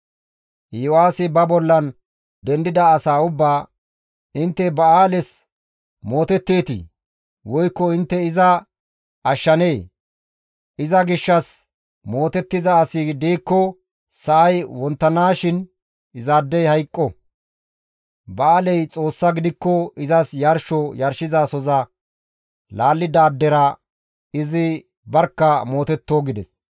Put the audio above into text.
Iyo7aasi ba bollan dendida asaa ubbaa, «Intte Ba7aales mootetteetii? Woykko intte iza ashshanee? Iza gishshas mootettiza asi diikko sa7ay wonttanaashin izaadey hayqqo! Ba7aaley Xoossa gidikko izas yarsho yarshizasoza laallidaadera izi barkka mootetto» gides.